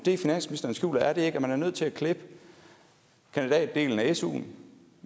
er det ikke at man er nødt til at klippe kandidatdelen af suen